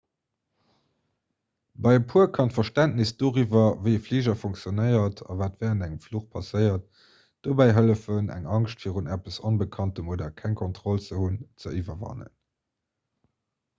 bei e puer kann d'verständnes doriwwer wéi e fliger funktionéiert a wat wärend engem fluch passéiert dobäi hëllefen eng angscht virun eppes onbekanntem oder keng kontroll ze hunn ze iwwerwannen